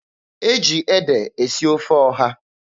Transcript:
E ji ede esi ofe ọha.